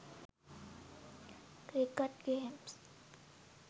cricket games